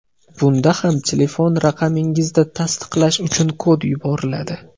Bunda ham telefon raqamingizga tasdiqlash uchun kod yuboriladi.